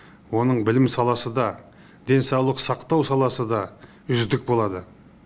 оның білім саласы да денсаулық сақтау саласы да үздік болады